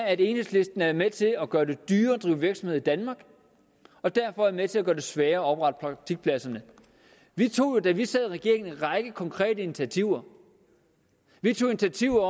at enhedslisten er med til at gøre det dyrere at drive virksomhed i danmark og derfor er med til at gøre det sværere at oprette praktikpladser vi tog da vi sad i regering en række konkrete initiativer vi tog initiativ